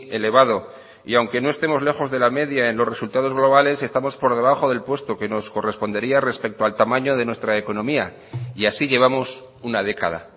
elevado y aunque no estemos lejos de la media en los resultados globales estamos por debajo del puesto que nos correspondería respecto al tamaño de nuestra economía y así llevamos una década